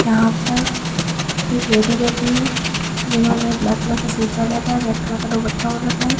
यहां पर एक लेडी बैठी है जिन्होंने ब्लैक कलर का सूट पहन रखा है रेड कलर का दुपट्टा ओड़ रखा है।